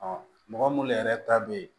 mɔgɔ minnu yɛrɛ ta bɛ ye